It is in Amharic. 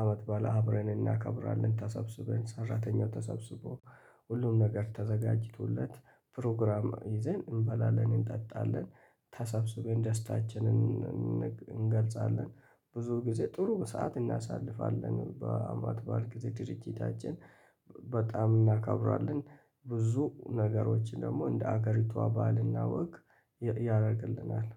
አመት ባለ አብረን እናከብራለን ተሰብስበን ሰራተኛው ተሰብስቦ ሁሉም ነገር ተዘጋጅቶለት ፕሮግራም ይዘን እንበላለን እንጠጣለን ተሰብስበን ደስታችንን እን እን እንገልጻለን ብዙ ጊዜ ጥሩ ሰዓት እናሳልፋለን በአመት በዓል ጊዜ ድርጅታችን በጣም እናከብራለን ብዙ ነገሮችን ደግሞ እንደ ሀገሪቷ ባህልና ወግ ያ ያደርግልናል